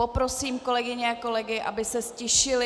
Poprosím kolegyně a kolegy, aby se ztišili.